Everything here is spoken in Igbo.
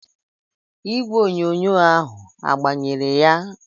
Igwe onyonyo ahu agbanyere ya?